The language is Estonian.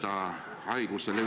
See on uus info eilsest päevast.